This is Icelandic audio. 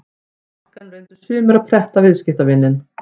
Á markaðnum reyndu sumir að pretta viðskiptavininn.